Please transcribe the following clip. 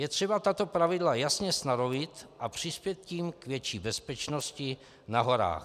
Je třeba tato pravidla jasně stanovit a přispět tím k větší bezpečnosti na horách.